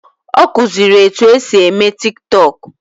Ọ kụziri etu esi eme Tiktọk